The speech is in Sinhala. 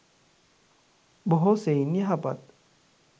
බොහෝ සෙයින් යහපත්